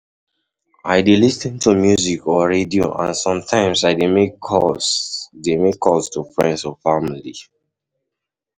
I dey lis ten to music or radio, and sometimes i dey make calls dey make calls to friends or family.